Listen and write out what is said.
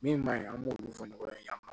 Min maɲi an b'o min fɔ nɔgɔ ye